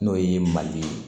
N'o ye mali ye